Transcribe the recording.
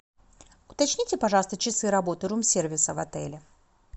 уточните пожалуйста часы работы рум сервиса в отеле